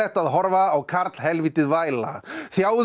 að horfa á væla